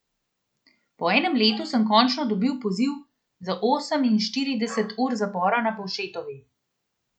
Po enem letu sem končno dobil poziv za oseminštirideset ur zapora na Povšetovi.